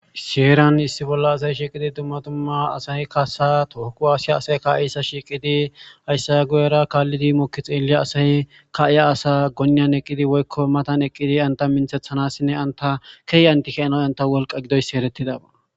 sheeran issi bolla asay shiiqidi dummatumma asayi kaasa tooku asiy asay ka7eyssa shiiqidi hayssa guyera kaallidi mokki xeelli asayi ka iya asa gonan eqqidi woykko matan eqqidi anta minthethanassinne anta keyantikeeno anta wolqa gidoyss erettidaa.